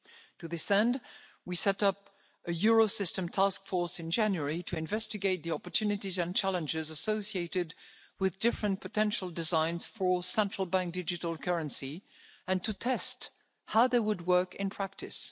To this end, we set up a Eurosystem task force in January to investigate the opportunities and challenges associated with different potential designs for a central bank digital currency and to test how they would work in practice.